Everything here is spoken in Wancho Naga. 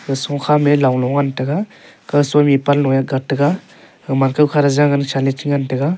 sukha me long e ngan taiga kaw soi che li te ngan taiga.